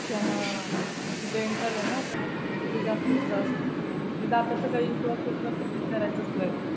हा. ते डेंटल आहे ना. ते जास्तच त्रास देतं. आणि दातांचं काही इश्यू असेल तर विचरायचंच नाही.